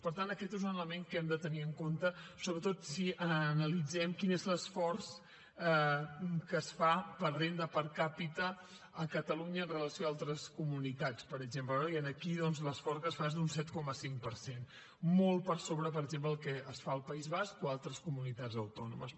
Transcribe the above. per tant aquest és un element que hem de tenir en compte sobretot si analitzem quin és l’esforç que es fa per renda per capitanitats per exemple no i aquí doncs l’esforç que es fa és d’un set coma cinc per cent molt per sobre per exemple del que es fa al país basc o a altres comunitats autònomes